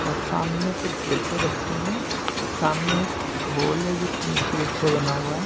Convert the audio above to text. और सामने कुछ डिब्बे रखे हैं सामने एक होल है जो टीन शेड से बना हुआ है।